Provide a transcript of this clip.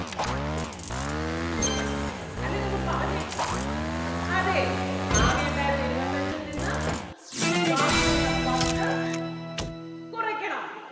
അല്ലെങ്കിൽ ഒന്ന് പറഞ്ഞേ അതേ ആകെ ഉണ്ടാരുന്ന ഇരുപത്തഞ്ചിൽ നിന്ന് ബാക്കി വന്ന പത്ത് കൊറയ്ക്കണം.